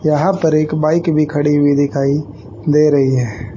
यहां पर एक बाइक भी खड़ी हुई दिखाई दे रही है।